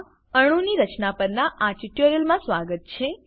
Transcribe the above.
માં અણુની રચના પરનાં આ ટ્યુટોરીયલમાં સ્વાગત છે